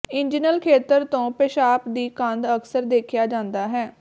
inguinal ਖੇਤਰ ਤੋਂ ਪੇਸ਼ਾਬ ਦੀ ਗੰਧ ਅਕਸਰ ਦੇਖਿਆ ਜਾਂਦਾ ਹੈ